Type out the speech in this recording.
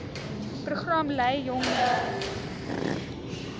program lei jongmense